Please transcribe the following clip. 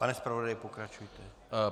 Pane zpravodaji, pokračujte.